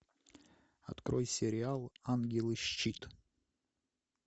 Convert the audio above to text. открой сериал ангелы щит